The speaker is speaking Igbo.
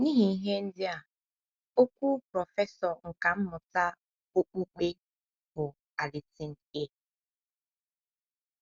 N’ihi ihe ndị a, okwu prọfesọ nkà mmụta okpukpe bụ́ Allison A.